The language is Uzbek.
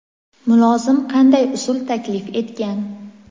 mulozim qanday usul taklif etgan?.